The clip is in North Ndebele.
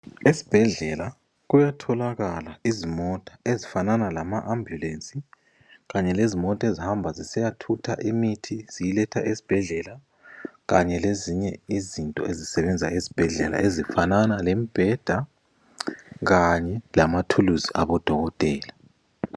Esibhedlela kuyatholakala izimota ezifanana lama ambulensi kanye lezimota ezihamba zisiyathutha imithi ziyiletha esibhedlela., kanye lezinye izinto ezisebenza esibhedlela ezifanana lembheda kanye lamathuluzi abodokotela.